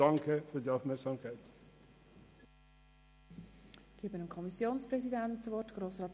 Das Wort hat der Kommissionspräsident, Grossrat Wenger.